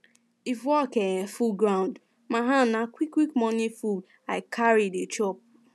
if work um full um my hand na quick quick morning food i um dey chop